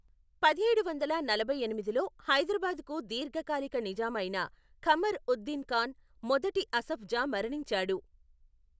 పదిహేడు వందల నలభై ఎనిమిదిలో, హైదరాబాదుకు దీర్ఘకాల నిజాం అయిన ఖమర్ ఉద్ దిన్ ఖాన్, మొదటి అసఫ్ జా మరణించాడు.